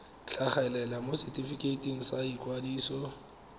tlhagelela mo setefikeiting sa ikwadiso